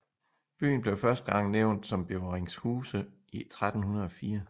Byen blev første gang nævnt som Beveringhuse i 1304